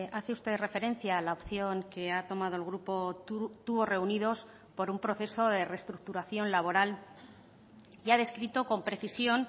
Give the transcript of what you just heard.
hace usted referencia a la opción que ha tomado el grupo tubos reunidos por un proceso de restructuración laboral y ha descrito con precisión